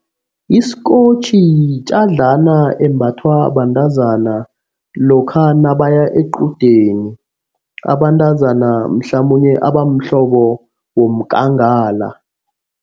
Isikotjhi yitjadlana embathwa bantazana lokha nabaya equdeni. Abantazana mhlamunye abamhlobo womkangala.